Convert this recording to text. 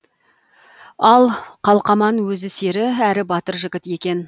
ал қалкаман өзі сері әрі батыр жігіт екен